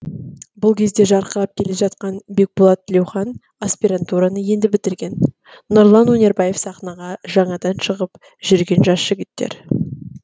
бұл кезде жарқырап келе жатқан бекболат тілеухан аспирантураны енді бітірген нұрлан өнербаев сахнаға жаңадан шығып жүрген жас жігіттер